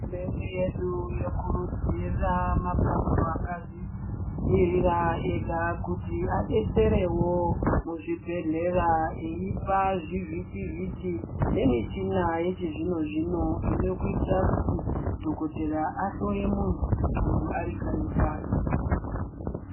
Hurumende yedu yokurudzira mapato akazvimiririra ega kuti adetserewo muzvibhedhlera, eipa zvivhitivhiti, nemichina yechizvino-zvino inokuita kuti dhokotera ahloye muntu, muntu ari kanyi kwake.